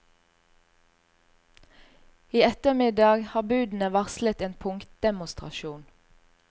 I ettermiddag har budene varslet en punktdemonstrasjon.